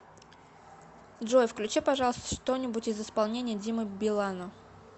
джой включи пожалуйста что нибудь из исполнения димы билана